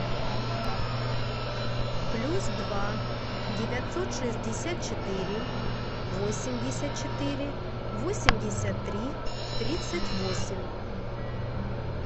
плюс два девятьсот шестьдесят четыре восемьдесят четыре восемьдесят три тридцать восемь